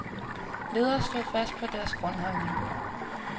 Ledere stod fast på deres grundholdning.